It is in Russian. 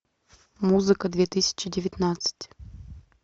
музыка две тысячи девятнадцать